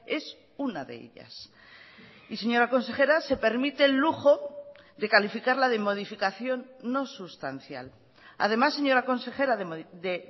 es una de ellas y señora consejera se permite el lujo de calificarla de modificación no sustancial además señora consejera de